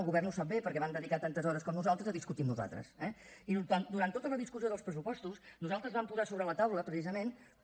el govern ho sap bé perquè van dedicar tantes hores com nosaltres a discutir amb nosaltres eh i durant tota la discussió dels pressupostos nosaltres vam posar sobre la taula precisament com